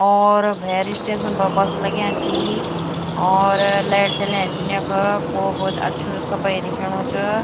और भैर स्टेशन ब बस लग्याँ छीं और लैट जलयां छिन यख खूब भुत अच्छू सपेयी दिखेणु च।